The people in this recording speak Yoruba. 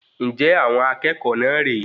Njẹ àwọn akẹ́kọ̀ọ́ náà rè é?